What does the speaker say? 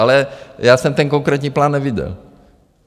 Ale já jsem ten konkrétní plán nevyděl.